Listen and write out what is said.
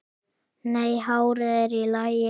Nei, hárið er í lagi.